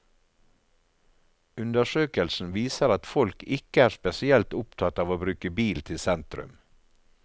Undersøkelsen viser at folk ikke er spesielt opptatt av å bruke bil til sentrum.